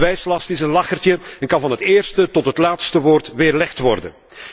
De bewijslast is een lachertje en kan van het eerste tot het laatste woord weerlegd worden.